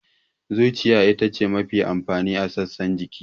Zuciya ita ce mafi amfani a sassan jiki.